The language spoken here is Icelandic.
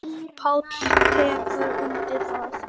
Páll tekur undir það.